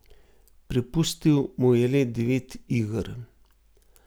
Prepustil mu je le devet iger.